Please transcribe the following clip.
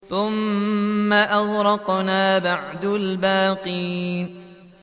ثُمَّ أَغْرَقْنَا بَعْدُ الْبَاقِينَ